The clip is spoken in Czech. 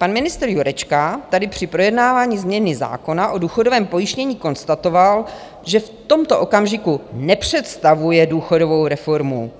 Pan ministr Jurečka tady při projednávání změny zákona o důchodovém pojištění konstatoval, že v tomto okamžiku nepředstavuje důchodovou reformu,